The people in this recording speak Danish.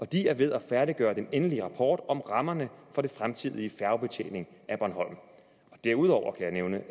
de er ved at færdiggøre den endelige rapport om rammerne for den fremtidige færgebetjening af bornholm derudover kan jeg nævne